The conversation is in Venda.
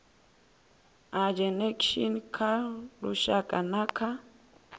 ageinaction kha lushaka na kha